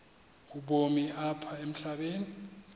ubomi apha emhlabeni